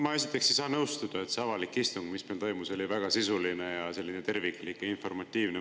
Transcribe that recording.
Ma esiteks ei saa nõustuda, et see avalik istung, mis toimus, oli väga sisuline, terviklik ja informatiivne.